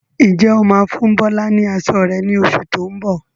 Ǹjẹ́ o máa fún Bọlá ni aṣọ rẹ ni oṣù tó ń bọ̀?